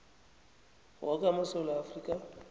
woke amasewula afrika